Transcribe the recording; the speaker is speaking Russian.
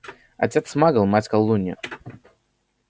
отец магл мать колдунья